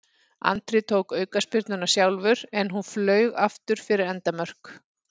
Andri tók aukaspyrnuna sjálfur en hún flaug aftur fyrir endamörk.